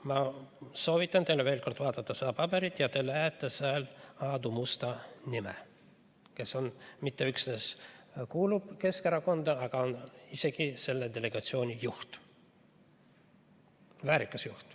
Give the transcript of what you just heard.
Ma soovitan teil veel kord vaadata seda paberit, siis te näete seal Aadu Musta nime, kes mitte üksnes ei kuulu Keskerakonda, vaid on isegi selle delegatsiooni juht, väärikas juht.